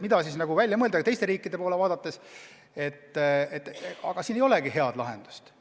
Ja kui teiste riikide poole vaadata, siis näeme ka, et ei olegi head lahendust.